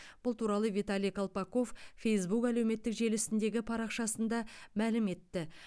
бұл туралы виталий колпаков фейсбук әлеуметтік желісіндегі парақшасында мәлім етті